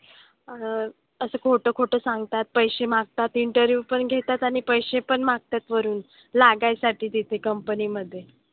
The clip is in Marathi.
अह असं खोटं खोटं सांगतात. पैसे मागतात. Interview पण घेतात आणि पैसे पण मागतात वरून लागायसाठी तिथे company मधे.